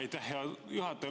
Aitäh, hea juhataja!